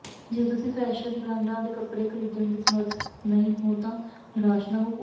ਜੇ ਤੁਸੀਂ ਫੈਸ਼ਨ ਬ੍ਰਾਂਡਾਂ ਦੇ ਕੱਪੜੇ ਖਰੀਦਣ ਦੇ ਸਮਰੱਥ ਨਹੀਂ ਹੋ ਤਾਂ ਨਿਰਾਸ਼ ਨਾ ਹੋਵੋ